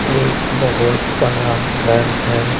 एक बहुत बड़ा घर है।